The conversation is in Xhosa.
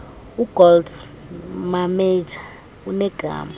ugold mametja unegama